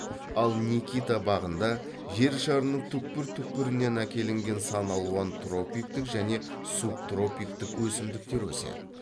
ал никита бағында жер шарының түкпір түкпірінен әкелінген сан алуан тропиктік және субтропиктік өсімдіктер өседі